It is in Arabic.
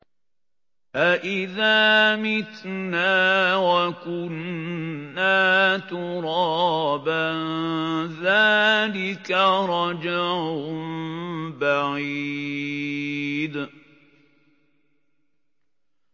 أَإِذَا مِتْنَا وَكُنَّا تُرَابًا ۖ ذَٰلِكَ رَجْعٌ بَعِيدٌ